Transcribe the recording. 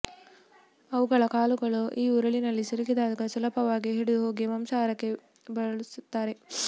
ಅವುಗಳ ಕಾಲುಗಳು ಈ ಉರುಳಿನಲ್ಲಿ ಸಿಲುಕಿದಾಗ ಸುಲಭವಾಗಿ ಹಿಡಿದು ಹೋಗಿ ಮಾಂಸಾಹಾರಕ್ಕೆ ಬಳಸುತ್ತಾರೆ